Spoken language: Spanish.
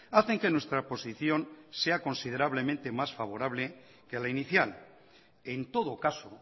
hacen que nuestra posición sea considerablemente más favorable que la inicial en todo caso